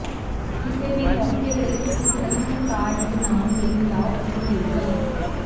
ਕਿਸੇ ਵੀ ਮੌਕੇ ਲਈ ਇੱਕ ਵਿਲੱਖਣ ਕਾਰਡ ਬਣਾਉਣ ਲਈ ਮਿਲਾਓ ਅਤੇ ਮੇਲ ਕਰੋ